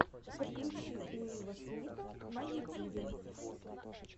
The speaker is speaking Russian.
подключи уилла смита на ютюбе